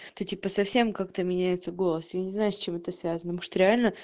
ты типа совсем как-то меняется голос я не знаю с чем это связано может реально